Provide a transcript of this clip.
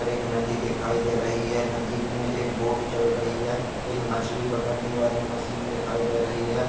एक नदी दिखाई दे रही है नदी मे एक बोट चल रही है एक मछली पकड़ने वाली मशीन दिखाई दे रही है।